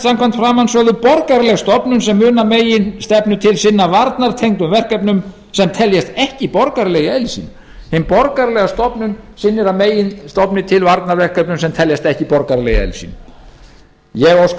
samkvæmt framansögðu borgaraleg stofnun sem mun að meginstefnu til sinna varnartengdum verkefnum sem teljast ekki borgaraleg í eðli sínu hin borgaralega stofnun sinnir að meginstofni til varnarverkefnum sem teljast ekki borgaraleg í eðli sínu ég óska